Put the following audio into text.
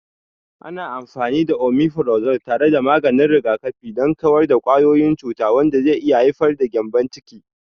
Ana amfani da Omifirazol tare da maganin rigakafi don kawar da kwayoyin cuta, wanda zai iya haifar da gyambon ciki.